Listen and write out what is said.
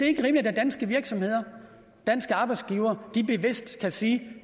ikke rimeligt at danske virksomheder danske arbejdsgivere bevidst kan sige